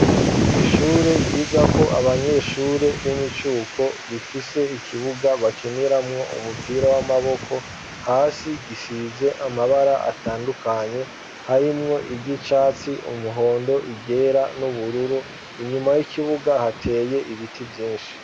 Ishure ryiga ko abanyeshure b'imicuko rifise ikibuga bakiniramwo umupira w'amaboko hasi gisize amabara atandukanye harimwo igicatsi umuhondo iryera n'ubururu inyuma y'ikibuga hateye ibiti vyinshi.